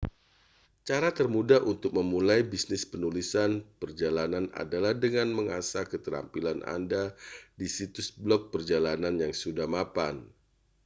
cara termudah untuk memulai bisnis penulisan perjalanan adalah dengan mengasah keterampilan anda di situs blog perjalanan yang sudah mapan